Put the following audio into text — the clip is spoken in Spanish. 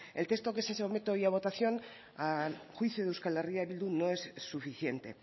el texto que se somete hoy a votación a juicio de euskal herria bildu no es suficiente